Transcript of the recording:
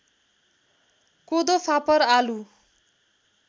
कोदो फापर आलु